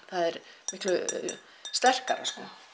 það er miklu sterkara